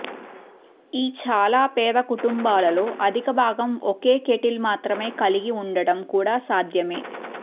ఈ చాలా పేద కుటుంబాలలో అధికభాగం ఒకే కేటిల్ మాత్రమే కలిగి ఉండటం కూడా సాధ్యమే